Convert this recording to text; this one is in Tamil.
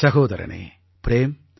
சகோதரனே ப்ரேம்